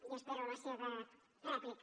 i espero la seva rèplica